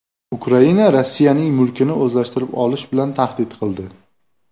Ukraina Rossiyaning mulkini o‘zlashtirib olish bilan tahdid qildi.